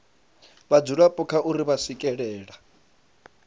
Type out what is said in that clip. vhadzulapo kha uri vha swikelela